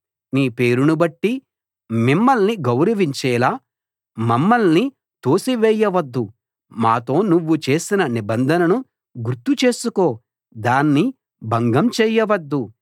నీ పేరును బట్టి మిమ్మల్ని గౌరవించేలా మమ్మల్ని తోసివేయవద్దు మాతో నువ్వు చేసిన నిబంధనను గుర్తు చేసుకో దాన్ని భంగం చేయవద్దు